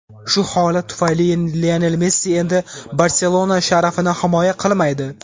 Shu holat tufayli Lionel Messi endi "Barselona" sharafini himoya qilmaydi.